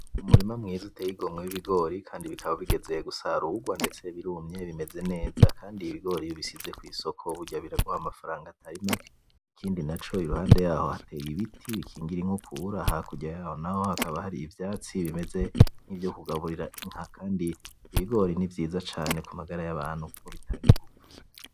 Umurima mwiza uteye igomwe w'Ibigori, Kandi bigeze gusarurwa ndetse birumye bimeze neza Kandi iyo Ibigori ubishize kwisoko burya biraguha amafaranga Atari make, ikindi naco iruhande yaho hateye ibiti bikingira inkukura hakurya yaho naho hakaba hari ivyatsi bimeze nkivyo kugaburira Inka, kandi Ibigori nivyiza cane kumagara yabantu kuko bitanga inguvu.